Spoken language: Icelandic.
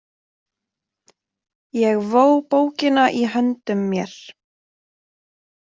Ég vó bókina í höndum mér.